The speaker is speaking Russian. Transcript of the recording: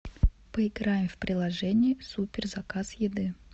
поиграем в приложение супер заказ еды